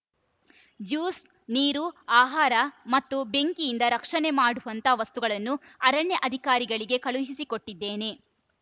juice ನೀರು ಆಹಾರ ಮತ್ತು ಬೆಂಕಿಯಿಂದ ರಕ್ಷಣೆ ಮಾಡುವಂಥ ವಸ್ತುಗಳನ್ನು ಅರಣ್ಯ ಅಧಿಕಾರಿಗಳಿಗೆ ಕಳುಹಿಸಿಕೊಟ್ಟಿದ್ದೇನೆ